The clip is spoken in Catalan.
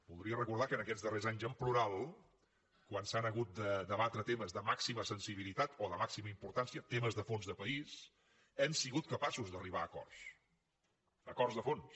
voldria recordar que en aquests darrers anys en plural quan s’han hagut de debatre temes de màxima sensibilitat o de màxima importància temes de fons de país hem sigut capaços d’arribar a acords acords de fons